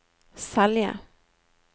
Selje